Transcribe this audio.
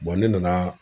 ne nana